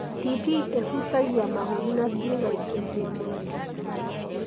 TB ĩhutagia mahũri na cĩiga ingĩ cia mwĩrĩ hamwe.